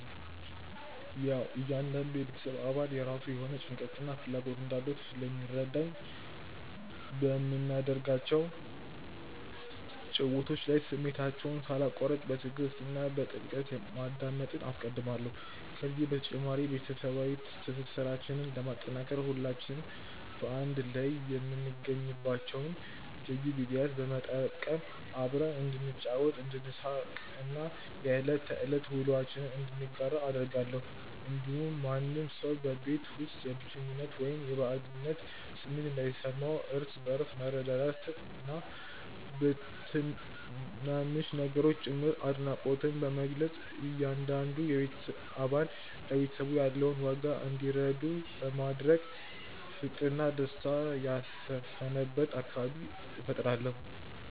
ያዉ እያንዳንዱ የቤተሰብ አባል የራሱ የሆነ ጭንቀትና ፍላጎት እንዳለው ስለሚረዳኝ፣ በምናደርጋቸው ጭውውቶች ላይ ስሜታቸውን ሳላቋርጥ በትዕግስት እና በጥልቀት ማዳመጥን አስቀድማለሁ። ከዚህ በተጨማሪ፣ ቤተሰባዊ ትስስራችንን ለማጠናከር ሁላችንም በአንድ ላይ የምንገኝባቸውን ልዩ ጊዜያት በመጠቀም አብረን እንድንጫወት፣ እንድንሳቅ እና የዕለት ተዕለት ውሎአችንን እንድንጋራ አደርጋለሁ። እንዲሁም ማንም ሰው በቤት ውስጥ የብቸኝነት ወይም የባዕድነት ስሜት እንዳይሰማው፣ እርስ በእርስ በመረዳዳትና በትናንሽ ነገሮችም ጭምር አድናቆትን በመግለጽ እያንዳንዱ አባል ለቤተሰቡ ያለውን ዋጋ እንዲረዳ በማድረግ ፍቅርና ደስታ የሰፈነበት አካባቢ እፈጥራለሁ።